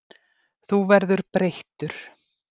Þú verður breyttur.